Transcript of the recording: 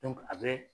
a bɛ